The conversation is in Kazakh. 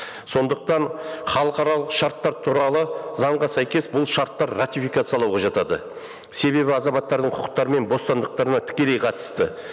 сондықтан халықаралық шарттар туралы заңға сәйкес бұл шарттар ратификациялауға жатады себебі азаматтардың құқықтары мен бостандықтарына тікелей қатысты